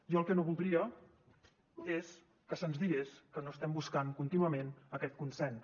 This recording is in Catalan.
jo el que no voldria és que se’ns digués que no estem buscant contínuament aquest consens